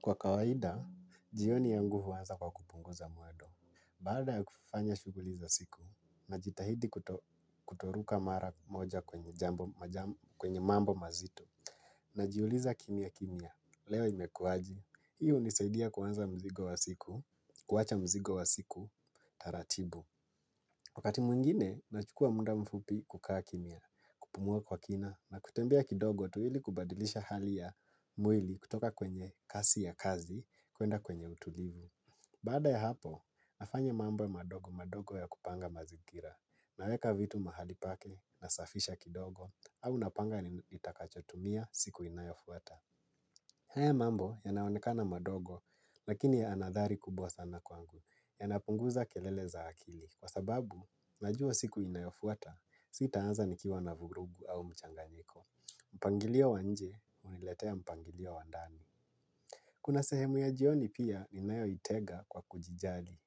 Kwa kawaida, jioni yangu huanza kwa kupunguza mwendo. Baada ya kufanya shughuli za siku, najitahidi kutoruka mara moja kwenye mambo mazito. Najiuliza kimya kimya. Leo imekuwaje? Hii hunisaidia kuwacha mzigo wa siku, taratibu. Wakati mwingine, nachukua muda mfupi kukaa kimya. Kupumua kwa kina na kutembea kidogo tu ili kubadilisha hali ya mwili kutoka kwenye kasi ya kazi. Kwenda kwenye utulivu. Baada ya hapo, nafanya mambo madogo madogo ya kupanga mazingira. Naweka vitu mahali pake, nasafisha kidogo. Au napanga nitakachotumia siku inayofuata. Haya mambo yanaonekana madogo. Lakini yana hadhari kubwa sana kwangu. Yanapunguza kelele za akili. Kwa sababu, najua siku inayofuata sitaanza nikiwa na vurugu au mchanganyiko. Mpangilio wa nje, huniletea mpangilio wandani. Kuna sehemu ya jioni pia ninayoitega kwa kujijali.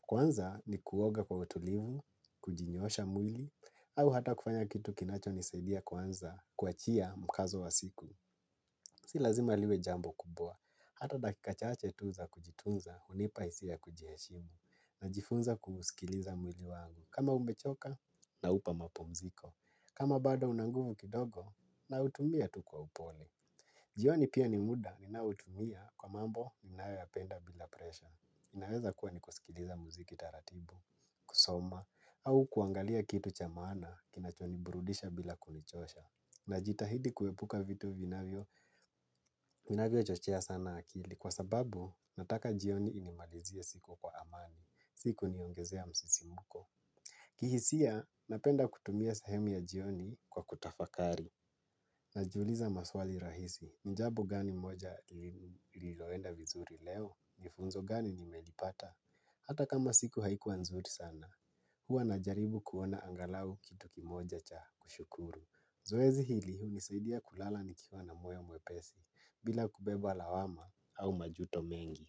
Kwanza ni kuoga kwa utulivu, kujinyoosha mwili, au hata kufanya kitu kinachonisadia kwanza kuachia mkazo wa siku. Si lazima liwe jambo kubwa. Hata dakika chache tu za kujitunza, hunipa hisia kujiheshimu, najifunza kusikiliza mwili wangu. Kama umechoka naupa mapumziko. Kama bado una nguvu kidogo nautumia tu kwa upole. Jioni pia ni muda ninaoutumia kwa mambo ninayoyapenda bila presha. Naweza kuwa ni kusikiliza muziki taratibu, kusoma, au kuangalia kitu cha maana kinachoniburudisha bila kunichosha. Najitahidi kuepuka vitu vinavyochochea sana akili kwa sababu nataka jioni inimalizie siku kwa amani, sikuniongezea msisimuko. Kihisia, napenda kutumia sehemu ya jioni kwa kutafakari. Najiuliza maswali rahisi. Ni jambo gani moja liloenda vizuri leo? Ni funzo gani nimelipata? Hata kama siku haikuwa nzuri sana. Huwa najaribu kuona angalau kitu kimoja cha kushukuru. Zoezi hili hunisaidia kulala nikiwa na moyo mwepesi bila kubeba lawama au majuto mengi.